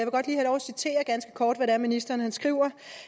citere ganske kort hvad det er ministeren skriver